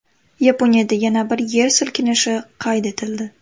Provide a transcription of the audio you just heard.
Yaponiyada yana bir yer silkinishi qayd etildi.